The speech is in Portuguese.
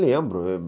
Lembro.